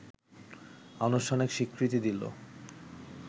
আনুষ্ঠানিক স্বীকৃতি দিল